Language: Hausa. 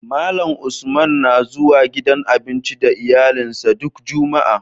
Malan Usman na zuwa gidan abinci da iyalin sa duk jumaa